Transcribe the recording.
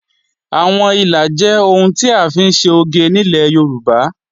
Àwọn ìlà jẹ́ ohun tí à ń fi ṣe oge nílẹ̀ Yorùbá